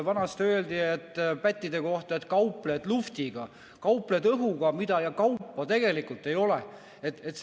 Vanasti öeldi pättide kohta, et kaupled luhvtiga, kaupled õhuga ja kaupa tegelikult ei ole.